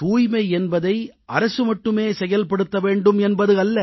தூய்மை என்பதை அரசு மட்டுமே செயல்படுத்த வேண்டும் என்பது அல்ல